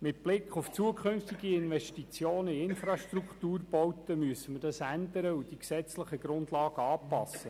Mit Blick auf zukünftige Investitionen in Infrastrukturbauten müssen wir das ändern und die gesetzlichen Grundlagen anpassen.